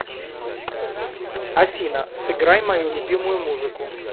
афина сыграй мою любимую музыку